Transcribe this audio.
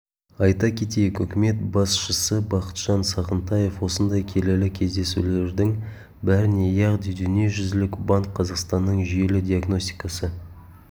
айта кетейік үкімет басшысы бақытжан сағынтаев осындай келелі кездесулердің біріне яғни дүниежүзілік банк қазақстанның жүйелі диагностикасы